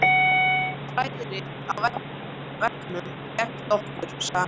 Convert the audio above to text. Fræðirit á veggnum gegnt okkur sagði hann.